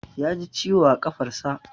Ya ji ciwo a ƙafarsa.